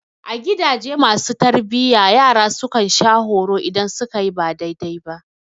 A gidaje masu tarbiyya, yara su kan sha horo idan su ka yi ba daidai ba.